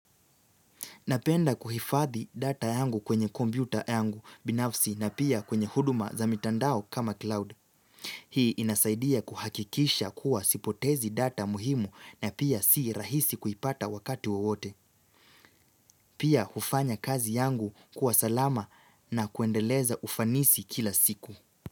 Napenda kuhifadhi data yangu kwenye kompyuta yangu binafsi na pia kwenye huduma za mitandao kama cloud. Hii inasaidia kuhakikisha kuwa sipotezi data muhimu na pia si rahisi kuipata wakati wewote. Pia hufanya kazi yangu kuwa salama na kuendeleza ufanisi kila siku.